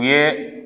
U ye